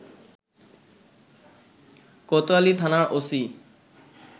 কোতোয়ালি থানার ওসি